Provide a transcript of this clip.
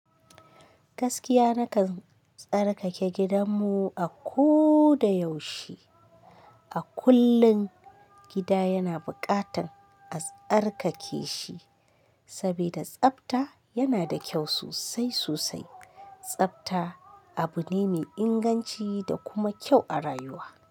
Gaskiya na kan tsarkake gidan mu a ko da yaushe. A kullum gida yana buƙatar a tsarkake shi sabida tsafta yana da kyau sosai sosai. Tsafta abu ne mai inganci da kuma kyau a rayuwa.